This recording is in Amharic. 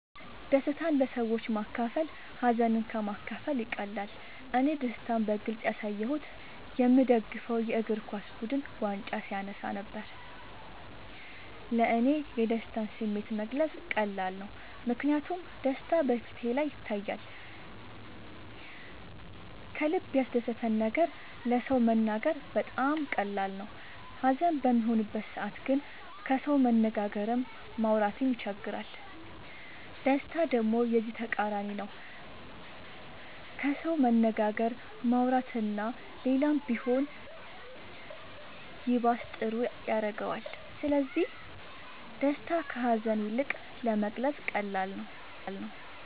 ደስታን ለሰዎች ማካፈል ሀዘንን ከ ማካፈል ይቀላል እኔ ደስታን በግልፅ ያሳየሁት የ ምደግፈው የ እግርኳስ ቡድን ዋንጫ ሲያነሳ ነበር። ለ እኔ የደስታን ስሜት መግለፅ ቀላል ነው ምክንያቱም ደስታ በ ፊቴ ላይ ይታያል ከልበ ያስደሰተን ነገር ለ ሰው መናገር በጣም ቀላል ነው ሀዘን በሚሆንበት ሰዓት ግን ከሰው መነጋገርም ማውራት ይቸግራል ደስታ ደሞ የዚ ተቃራኒ ነው ከሰው መነጋገር ማውራት እና ሌላም ቢሆን ይባስ ጥሩ ያረገዋል ስለዚ ደስታ ከ ሀዛን ይልቅ ለመግለፃ ቀላል ነው።